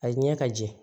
A ye ɲɛ ka jɛ